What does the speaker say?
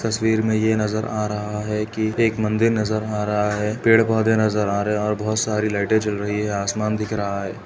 तस्वीर में ये नजर आ रहा है कि एक मन्दिर नजर आ रहा है पेड़ पोधे नजर आ रहे हैं और बहोत सारी लाईटें जल रही हैं आसमान दिख रहा है।